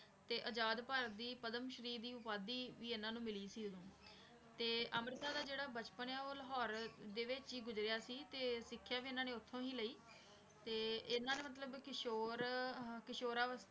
ਤੇ ਆਜ਼ਾਦ ਭਾਰਤ ਦੀ ਪਦਮ ਸ਼੍ਰੀ ਦੀ ਉਪਾਧੀ ਵੀ ਇਹਨਾਂ ਨੂੰ ਮਿਲੀ ਸੀ ਉਦੋਂ ਤੇ ਅੰਮ੍ਰਿਤਾ ਦਾ ਜਿਹੜਾ ਬਚਪਨ ਹੈ ਉਹ ਲਾਹੌਰ ਦੇ ਵਿੱਚ ਹੀ ਗੁਜ਼ਰਿਆ ਸੀ ਤੇ ਸਿੱਖਿਆ ਵੀ ਇਹਨਾਂ ਨੇ ਉੱਥੋਂ ਹੀ ਲਈ ਤੇ ਇਹਨਾਂ ਨੇ ਮਤਲਬ ਕਿਸ਼ੋਰ ਅਹ ਕਿਸ਼ੋਰ ਅਵਸ~